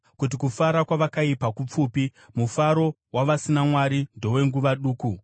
kuti kufara kwavakaipa kupfupi, mufaro wavasina Mwari ndowenguva duku.